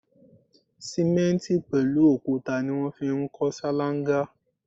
Simenti pẹlu òkúta ni wọn fi ń kọ ṣalanga